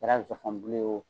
A kɛra zɔfɔn bulu ye